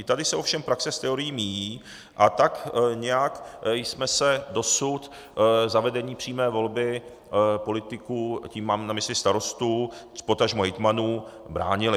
I tady se ovšem praxe s teorií míjí a tak nějak jsme se dosud zavedení přímé volby politiků, tím mám na mysli starostů, potažmo hejtmanů, bránili.